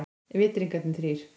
Vitringarnir þrír.